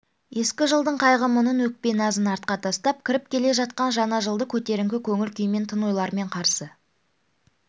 ескі жылдың қайғы-мұңын өкпе-назын артқа тастап кіріп келе жатқан жаңа жылды көтеріңкі көңіл-күймен тың ойлармен қарсы